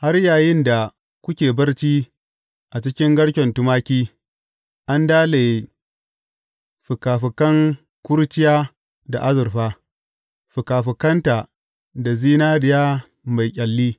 Har yayinda kuke barci a cikin garken tumaki, an dalaye fikafikan kurciya da azurfa, fikafikanta da zinariya mai ƙyalli.